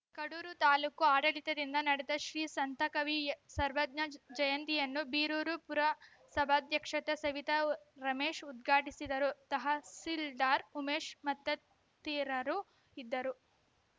ಕಡೂರು ತಾಲೂಕು ಆಡಳಿತದಿಂದ ನಡೆದ ಶ್ರೀ ಸಂತಕವಿ ಸರ್ವಜ್ಞ ಜಯಂತಿಯನ್ನು ಬೀರೂರು ಪುರಸಭಾಧ್ಯಕ್ಷೆತೆ ಸವಿತಾ ರಮೇಶ್‌ ಉಧ್ಘಾಟಿಸಿದರು ತಹಸೀಲ್ದಾರ್‌ ಉಮೇಶ್‌ ಮತ್ತತಿರರು ಇದ್ದರು